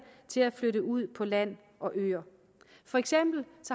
til at flytte ud på landet og øerne for eksempel